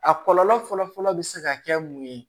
A kɔlɔlɔ fɔlɔfɔlɔ bɛ se ka kɛ mun ye